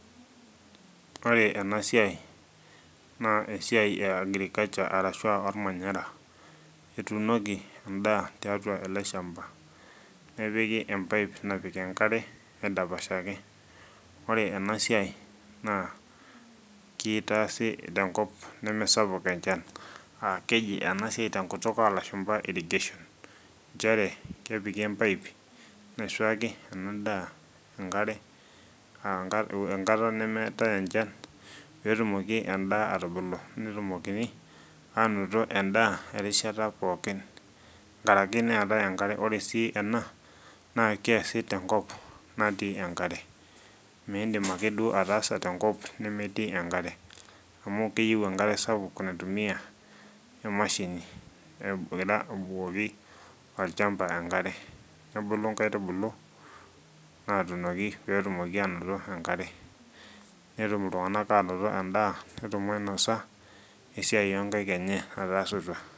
Ore ena siai naa esiai e agriculture arashua ormanyara etunoki endaa tiatua ele shamba nepiki empaip napik enkare aidapashaki ore ena siai naa kitaasi tenkop nemesapuk enchan aa keji ena siai tenkop olashumba irrigation nchere kepiki empaip naisuaki ena daa enkare uh enkata nemeetae enchan petumoki endaa atubulu netumokini anoto endaa erishata pookin nkaraki neetae enkare ore sii ena naa keesi tenkop natii enkare mindim akeduo ataasa tenkop nemetii enkare amu keyieu enkare sapik naitumiyia emashini egira abukoki orchamba enkare nebulu inkaitubulu natunoki petumoki anoto enkare netum iltung'anak anoto endaa netum ainosa esiai onkaik enye nataasutua.